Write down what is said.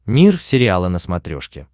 мир сериала на смотрешке